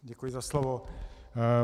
Děkuji za slovo.